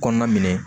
Kɔnɔna minɛ